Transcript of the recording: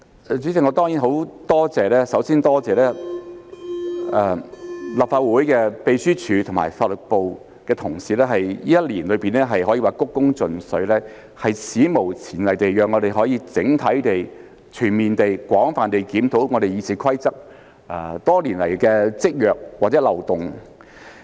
主席，首先，我多謝立法會秘書處和法律事務部的同事，他們在這一年內可說是鞠躬盡瘁，史無前例地讓我們可以整體地、全面地、廣泛地檢討《議事規則》多年來的積弱或漏洞。